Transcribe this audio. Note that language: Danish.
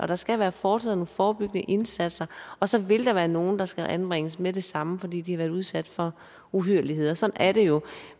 der skal være foretaget nogle forebyggende indsatser og så vil der være nogle der skal anbringes med det samme fordi de har været udsat for uhyrligheder sådan er det jo